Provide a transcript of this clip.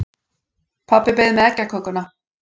Pabbi beið með eggjakökuna.